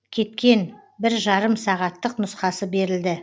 кеткен бір жарым сағаттық нұсқасы берілді